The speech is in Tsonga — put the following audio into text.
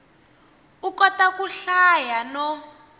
u kota ku hlaya no